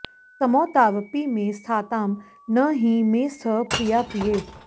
समौ तावपि मे स्थातां न हि मे स्तः प्रियाप्रिये